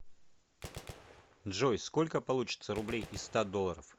джой сколько получится рублей из ста долларов